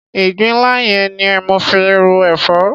Ìgbín nla yẹn ni mo fi ro èfọ́.